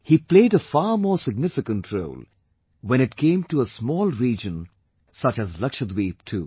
He played a far more significant role, when it came to a small region such as Lakshadweep too